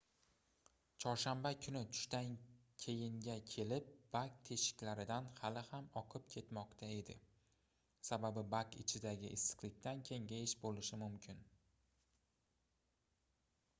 chorshanba kuni tushdan keyinga kelib bak teshikaridan hali ham oqib ketmoqda edi sababi bak ichidagi issiqlikdan kengayish boʻlishi mumkin